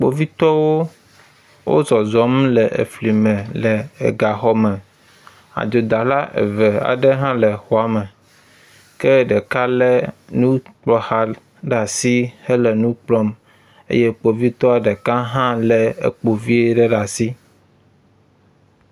Kpovitɔwo wo zɔzɔm le efli me le egaxɔme. Adzodala eve aɖe hã le exɔa me ke ɖeka le enukplɔxa ɖe si enu kplɔm eye ɖeka eye kpovitɔ ɖeka hã le ekpo vi ɖe asi.